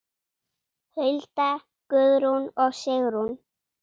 Hulda, Guðrún og Sigrún.